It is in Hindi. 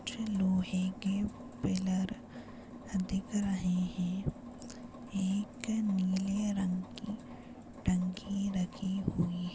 मुझे लोहे के पिलर दिख रहे है। एक नीले रंग की टंकी रखी हुई है।